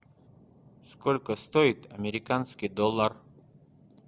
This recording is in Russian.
сколько стоит американский доллар